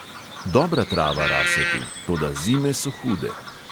Dobra trava rase tu, toda zime so hude.